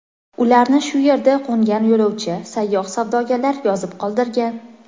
Ularni shu yerda qo‘ngan yo‘lovchi, sayyoh, savdogarlar yozib qoldirgan.